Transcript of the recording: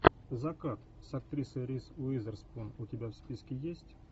закат с актрисой риз уизерспун у тебя в списке есть